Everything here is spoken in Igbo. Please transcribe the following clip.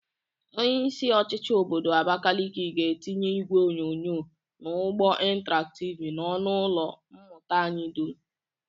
Onyeisi ochịchị obodo Abakeleke ga-etinye igwe onyonyo na ụgbọ intaraktịv n'ọnụ ụlọ mmụta anyị dum.